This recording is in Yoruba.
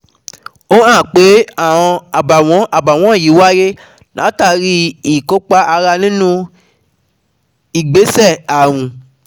Ó hàn pé àọn àbàwọ́n àbàwọ́n yìí wáyé látàrí i ìkópa ara nínú ìgbésẹ̀ ààrùn